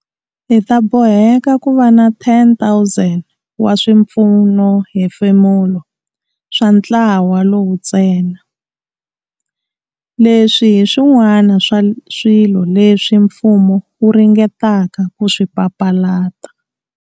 Hi ta boheka ku va na 10 000 wa swipfunohefemulo swa ntlawa lowu ntsena. Leswi hi swin'wana swa swilo leswi mfumo wu ringetaka ku swi papalata.